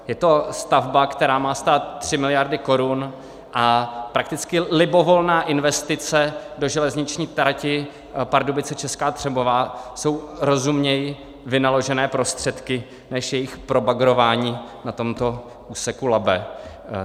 Je to stavba, která má stát 3 miliardy korun a prakticky libovolná investice do železniční trati Pardubice - Česká Třebová jsou rozumněji vynaložené prostředky než jejich probagrování na tomto úseku Labe.